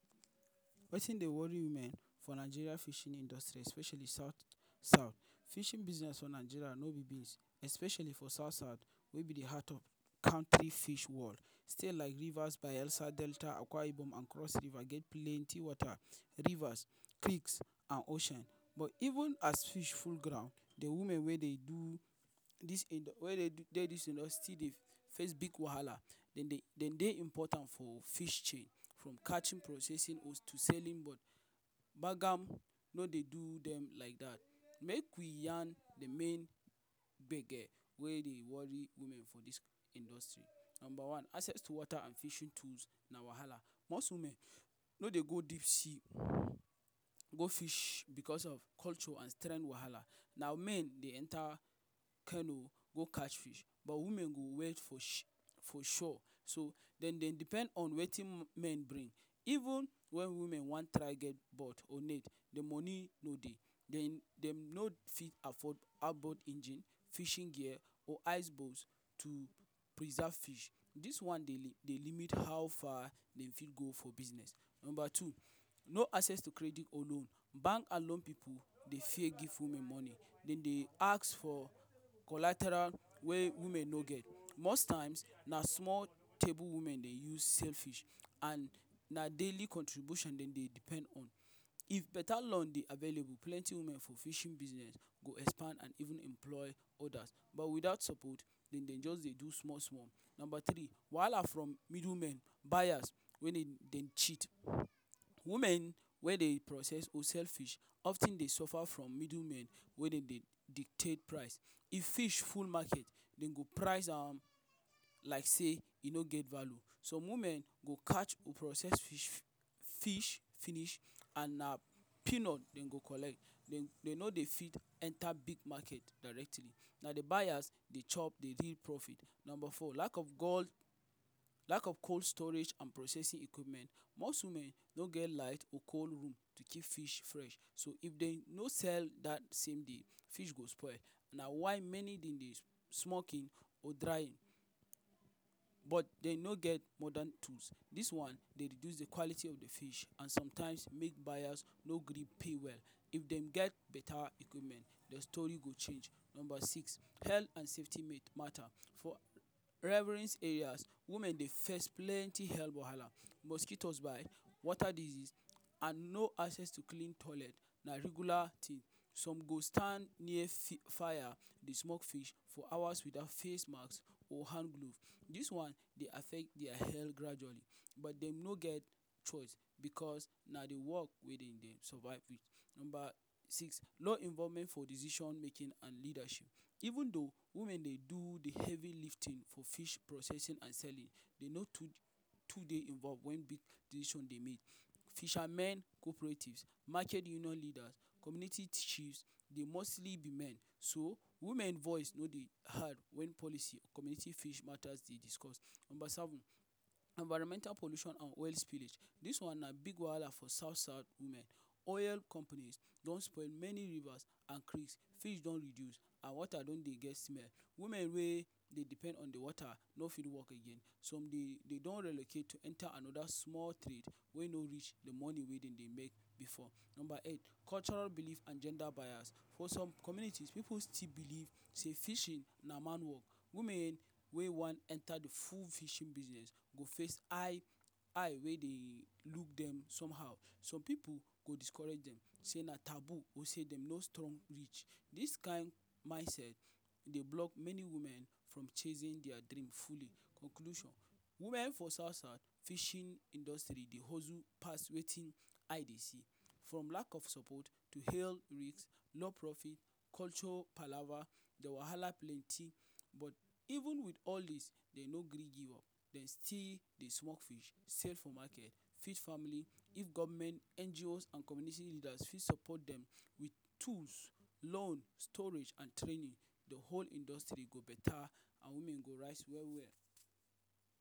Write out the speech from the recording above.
Wetin dey worry women for Nigeria fishing industry especially south south. Fishing business for Nigeria no be beans especially for south south wey be de heart of country fish world. State like Rivers, Bayelsa, Delta Akwa Ibom and cross River get plenty wata, rivers, creeks and ocean. Even as fish full ground, de women wey dey do wey dey this industry still deyface big wahala. Dem dey dem dey important for fishting, from catching processing to selling one Kpagam no dey do dem like that. Make we yarn de main gbege wey dey worry women for this industry. Number one: access to water and fishing tool na wahala. Most women no dey go deep sea go fish because of culture and strength wahala. Na men dey enter canoe go catch fish. But women go wait for shore. So dem dey depend on wetin men bring. Even when women dem wan try get or net, de money no dey. Den dem no fit afford outboard engine, fishing gear or ice boat to preserve fish. This one dey limit how far dem fit go for business. Number two. No access to credit or loan. Bank and loan pipo dey fear give women money. Dem dey ask for collateral wey women no get. Most times na small table women dey use sell fish and na daily contribution dem dey depend on. If beta law dey available, plenty women for fishing business go expand and even employ others. But without support, dem just dey do small small Number three. Wahala from middle men buyers wey dem dey cheat. Women wey dey process wholesale fish of ten dey suffer from middle men wey dem dey dictate price. If fish full market dem go price am like sey e no get value. Some women go catch, process fish finish and na peanut dem go collect. Dem no dey fit enter big market directly. Na de buyers de chop dey real profit. Number four. Lack of cold storage and processing equipment. most women no get light or cold room to keep fish fresh, so if dem no sell that same day, fish go spoil. Na why many dem dey smoke im, or dry im but dem no get Morden tools. This one dey reduce de quality of fish and sometimes make buyers no gree pay well. If dem get beta equipment, their story go change. Number six. Hel and safety matter For revrines areas, women dey face plenty hell wahala; mosquito bites, water disease and no access to clean toilet na regular tin. Some go stand near fire dey smoke fish for hours without face mask or hand gloves. This one dey affect their health gradually but dem no get choice because na de work dem dey survive wit. Number six. No involvement for decision making and leadership: Even though women dey do de heavy lifting for fish processing and selling dey no too too dey involved when big decisions dey make. Fishermen’s cooperatives, market union leaders, community chiefs, dey mostly be men. So, women voice no dey heard when policy community fish matters dey discussed. Number seven. Environmental pollution and oil spillage. This one na big wahala for south-South women. Oil companies don spoil many Rivers and creeks. Fish don reduce, and wata don dey get smell. Women wey dey depend on de wata no fit work again, some dey dey don relocate to enter another small trade wey no reach de money wey dem dey make before. Number 8. Cultural belief and gender bias For some communities, pipu still believe sey fishing na man work. Women wey wan enter de full fishing business go face eye eye wey dey look dem somehow. Some pipu go discourage dem say na taboo or say dem no strong reach. This kind mindset dey block many women from chasing their dream fully. Conclusion women for south south fishing industry dey hustle pass wetin eye dey see. From lack of support to, heal risk, low profit, culture palava, de wahala plenty. But even with all this, dem no gree give up, dem still dey smoke fish sell for market. Feed family, if government, NGOs and community leaders fit support dem with tools, loan, storage and training, de whole industry go beta and women go rise well well.